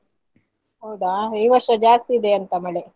ಹೌದಾ ಈ ವರ್ಷ ಜಾಸ್ತಿ ಇದೆಯಂತ ಮಳೆ.